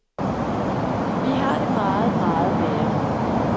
Vi har det meget, meget værre.